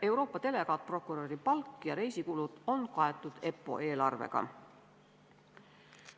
Euroopa delegaatprokuröri palk ja reisikulud on kaetud EPPO eelarvega.